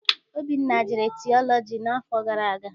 Obinna jere tiọlọji n'afọ gara aga.